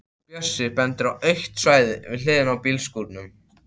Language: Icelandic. Bjössi bendir á autt svæði við hliðina á bílskúrunum.